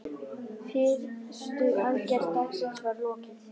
Fyrstu aðgerð dagsins var lokið.